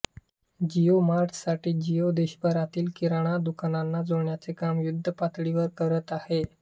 Jio mart साठी जिओ देशभरातील किराणा दुकानांना जोडण्याचे काम युद्धपातळीवर करत आहे